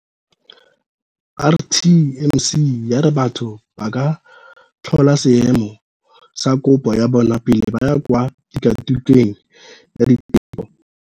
RTMC ya re batho ba ka tlhola seemo sa kopo ya bona pele ba ya kwa tikwatikweng ya diteko.